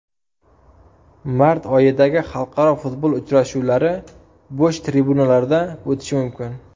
Mart oyidagi xalqaro futbol uchrashuvlari bo‘sh tribunalarda o‘tishi mumkin.